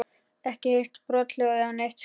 Ekki heyrt brothljóð eða neitt slíkt?